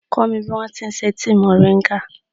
Kọ́ mi bí wọn ti ṣe tíì mòríńgà.